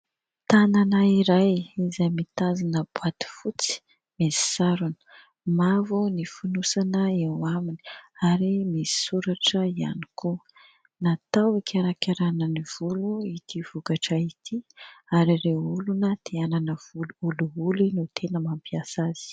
Tanana iray izay mitazona boaty fotsy misy sarony mavo ny fonosana eo aminy ary misy soratra ihany koa. Natao hikarakarana ny volo ity vokatra ity ary ireo olona te hanana volo olioly no tena mampiasa azy.